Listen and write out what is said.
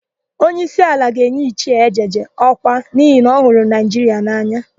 Onyeísí ala ga-enye Ichie Ejeje ọkwa n'ihi na ọ hụrụ Naịjiria n'anya.